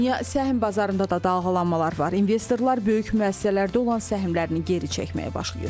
Dünya səhm bazarında da dalğalanmalar var, investorlar böyük müəssisələrdə olan səhmlərini geri çəkməyə başlayır.